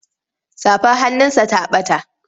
Safar hannunsa ta ɓata.